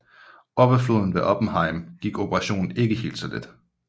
Op ad floden ved Oppenheim gik operationen ikke helt så let